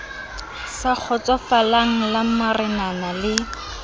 sa kgotsofalang la marenana le